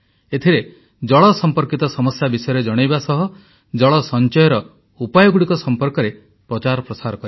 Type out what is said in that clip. ଏଥିରେ ଜଳ ସମ୍ପର୍କିତ ସମସ୍ୟା ବିଷୟରେ ଜଣାଇବା ସହ ଜଳ ସଞ୍ଚୟର ଉପାୟଗୁଡ଼ିକ ସମ୍ପର୍କରେ ପ୍ରଚାର ପ୍ରସାର କରିବା